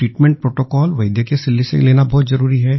treatment protocol वैद्य की सलाह से लेना बहुत जरूरी है